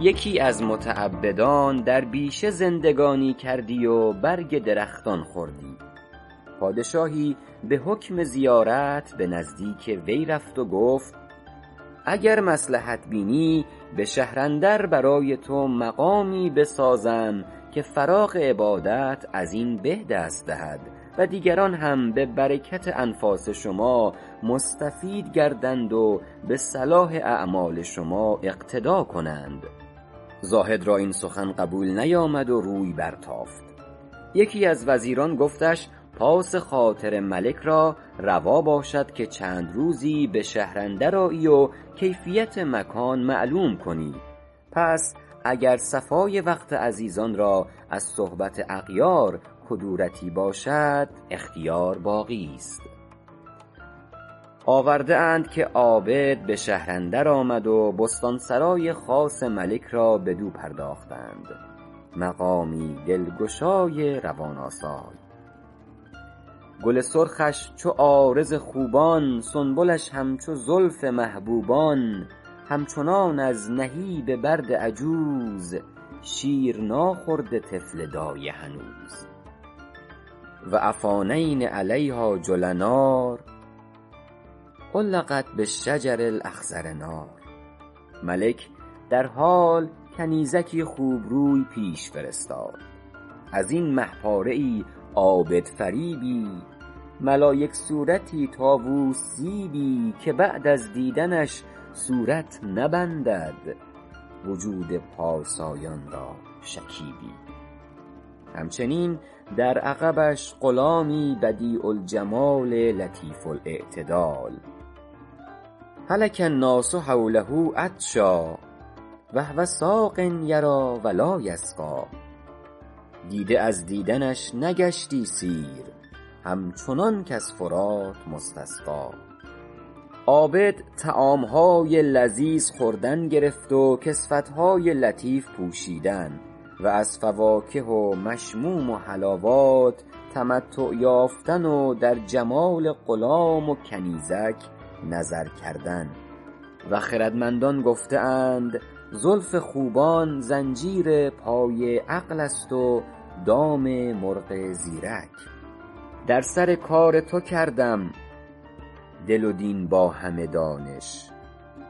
یکی از متعبدان در بیشه زندگانی کردی و برگ درختان خوردی پادشاهی به حکم زیارت به نزدیک وی رفت و گفت اگر مصلحت بینی به شهر اندر برای تو مقامی بسازم که فراغ عبادت از این به دست دهد و دیگران هم به برکت انفاس شما مستفید گردند و به صلاح اعمال شما اقتدا کنند زاهد را این سخن قبول نیامد و روی برتافت یکی از وزیران گفتش پاس خاطر ملک را روا باشد که چند روزی به شهر اندر آیی و کیفیت مکان معلوم کنی پس اگر صفای وقت عزیزان را از صحبت اغیار کدورتی باشد اختیار باقیست آورده اند که عابد به شهر اندر آمد و بستان سرای خاص ملک را بدو پرداختند مقامی دلگشای روان آسای گل سرخش چو عارض خوبان سنبلش همچو زلف محبوبان همچنان از نهیب برد عجوز شیر ناخورده طفل دایه هنوز و افانین علیها جلنار علقت بالشجر الاخضر نار ملک درحال کنیزکی خوبروی پیش فرستاد ازین مه پاره ای عابدفریبی ملایک صورتی طاووس زیبی که بعد از دیدنش صورت نبندد وجود پارسایان را شکیبی همچنین در عقبش غلامی بدیع الجمال لطیف الاعتدال هلک الناس حوله عطشا و هو ساق یریٰ و لاٰ یسقی دیده از دیدنش نگشتی سیر همچنان کز فرات مستسقی عابد طعام های لذیذ خوردن گرفت و کسوت های لطیف پوشیدن و از فواکه و مشموم و حلاوات تمتع یافتن و در جمال غلام و کنیزک نظر کردن و خردمندان گفته اند زلف خوبان زنجیر پای عقل است و دام مرغ زیرک در سر کار تو کردم دل و دین با همه دانش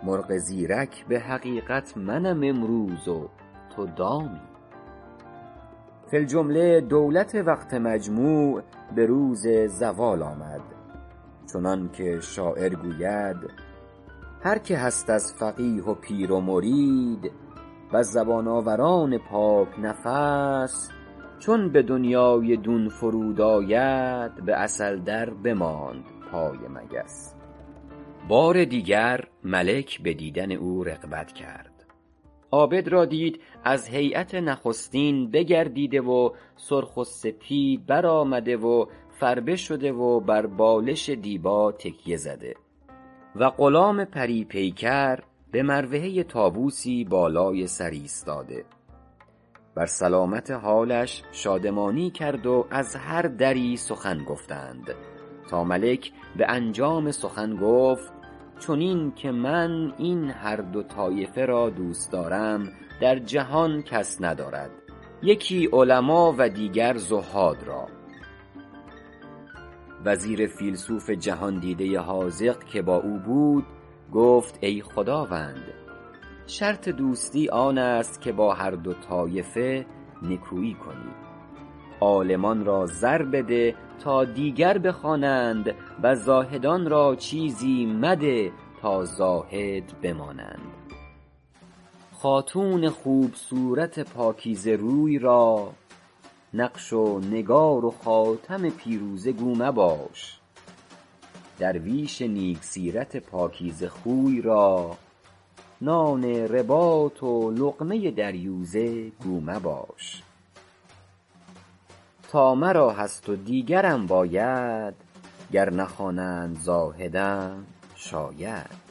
مرغ زیرک به حقیقت منم امروز و تو دامی فی الجمله دولت وقت مجموع به روز زوال آمد چنان که شاعر گوید هر که هست از فقیه و پیر و مرید وز زبان آوران پاک نفس چون به دنیای دون فرود آید به عسل در بماند پای مگس بار دیگر ملک به دیدن او رغبت کرد عابد را دید از هیأت نخستین بگردیده و سرخ و سپید بر آمده و فربه شده و بر بالش دیبا تکیه زده و غلام پری پیکر به مروحه طاووسی بالای سر ایستاده بر سلامت حالش شادمانی کرد و از هر دری سخن گفتند تا ملک به انجام سخن گفت چنین که من این هر دو طایفه را دوست دارم در جهان کس ندارد یکی علما و دیگر زهاد را وزیر فیلسوف جهاندیده حاذق که با او بود گفت ای خداوند شرط دوستی آن است که با هر دو طایفه نکویی کنی عالمان را زر بده تا دیگر بخوانند و زاهدان را چیزی مده تا زاهد بمانند خاتون خوب صورت پاکیزه روی را نقش و نگار و خاتم پیروزه گو مباش درویش نیک سیرت پاکیزه خوی را نان رباط و لقمه دریوزه گو مباش تا مرا هست و دیگرم باید گر نخوانند زاهدم شاید